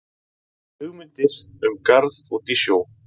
Hugmyndir um garð út í sjó